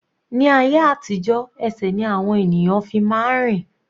Ní ayé àtijó ẹsẹ̀ ni àwọn ènìyàn fi máa ń rìn.